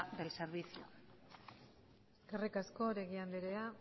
del servicio eskerrik asko oregi anderea